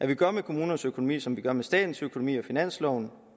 vi gør med kommunernes økonomi som vi gør med statens økonomi finansloven